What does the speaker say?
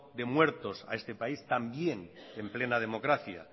de muertos a este país también en plena democracia